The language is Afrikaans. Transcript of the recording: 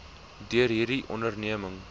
deur hierdie onderneming